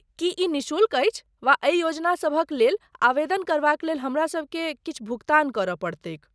की ई निःशुल्क अछि वा एहि योजना सभक लेल आवेदन करबाक लेल हमरा सभकेँ किछु भुगतान करय पड़तैक?